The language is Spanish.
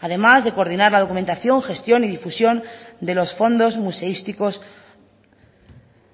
además de coordinar la documentación gestión y difusión de los fondos museísticos